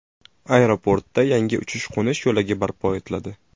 Aeroportda yangi uchish-qo‘nish yo‘lagi barpo etiladi.